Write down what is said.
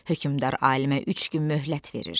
Hökmdar alimə üç gün möhlət verir.